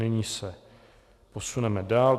Nyní se posuneme dále.